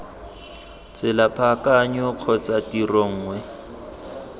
tsela paakanyo kgotsa tiro nngwe